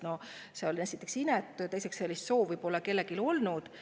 No see oli esiteks inetu ja teiseks, sellist soovi pole kellelgi olnud.